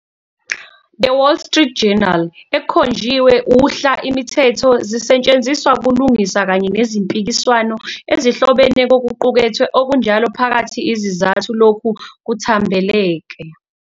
The Wall Street Journal ekhonjiwe uhla imithetho zisetshenziswa kulungisa kanye nezimpikiswano ezihlobene kokuqukethwe okunjalo phakathi izizathu lokhu kuthambekela.